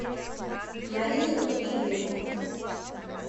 марию ивлеву